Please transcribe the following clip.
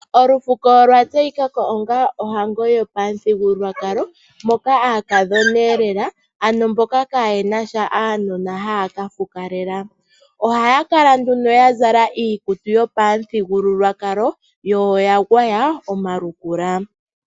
Olufuko olwa tseyika ko onga ohango yopamuthigululwakalo moka aakathoneelela, ano mboka kaayena sha uunona haya ka fukalela. Ohaya kala nduno ya zala iikutu yopamuthigululwakalo yo oya gwaya omalukula.